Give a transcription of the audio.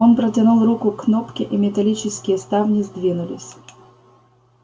он протянул руку к кнопке и металлические ставни сдвинулись